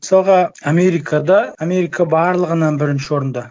мысалға америкада америка барлығынан бірінші орында